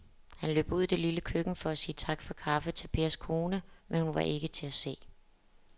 Han løb ud i det lille køkken for at sige tak for kaffe til Pers kone, men hun var ikke til at se.